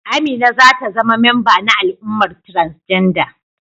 Amina za ta zama memba na al'ummar transgender.